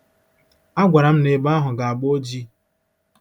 A gwara m na ebe ahụ ga-agba oji! ”